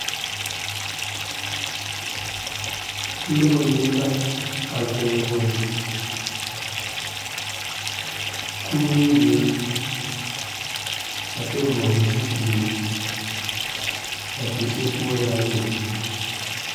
Noba mine a zoŋ zoŋ kurɛwire, a kyɛ vɔgle zupele a be sokoɔraa zuŋ.